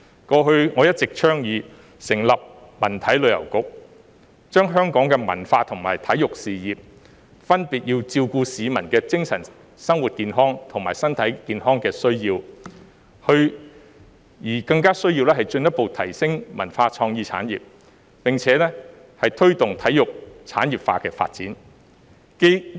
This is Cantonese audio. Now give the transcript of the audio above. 過去我一直倡議成立文體旅遊局，除了發展香港的文化和體育事業，照顧市民的精神生活健康和身體健康的需要外，更需要進一步提升文化創意產業，並且推動體育產業化發展。